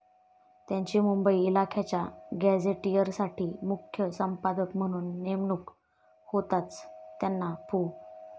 त्यांची मुंबई इलाख्याच्या गॅझेटियरसाठी मुख्य संपादक म्हणून नेमणूक होताच त्यांना पु.